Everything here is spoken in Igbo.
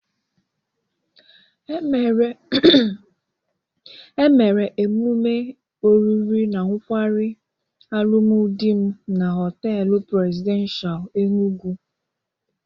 Emere emụme oriri na nkwarị alụmdị m na Họteelu Presidenshal, Enugwu.